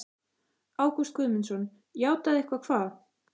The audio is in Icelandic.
Ágúst Guðmundsson: Játað eitthvað hvað?